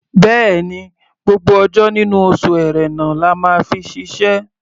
Bẹ́ẹ̀ni, gbogbo ọjọ́ nínú oṣù Ẹ̀rẹnà la máa fi ṣiṣẹ́.